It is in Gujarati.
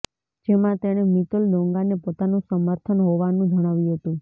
જેમાં તેણે મિતુલ દોંગાને પોતાનું સમર્થન હોવાનું જણાવ્યું હતું